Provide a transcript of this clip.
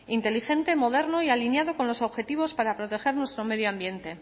inteligente moderno y alineado con los objetivos para proteger nuestro medio ambiente